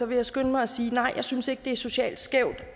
vil jeg skynde mig at sige at nej jeg synes ikke at det er socialt skævt